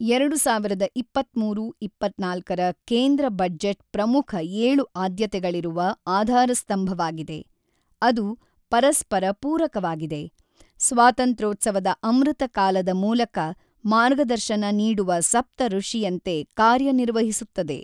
ಎರಡು ಸಾವಿರದ ಇಪ್ಪತ್ತ್ಮೂರು-ಇಪ್ಪತ್ತ್ನಾಲ್ಕರ ಕೇಂದ್ರ ಬಜೆಟ್ ಪ್ರಮುಖ ಏಳು ಆದ್ಯತೆಗಳಿರುವ ಆಧಾರಸ್ತಂಭವಾಗಿದೆ, ಅದು ಪರಸ್ಪರ ಪೂರಕವಾಗಿದೆ, ಸ್ವಾತಂತ್ರ್ಯೋತ್ಸವ ಅಮೃತ ಕಾಲದ ಮೂಲಕ ಮಾರ್ಗದರ್ಶನ ನೀಡುವ ಸಪ್ತಋಷಿಯಂತೆ ಕಾರ್ಯ ನಿರ್ವಹಿಸುತ್ತದೆ.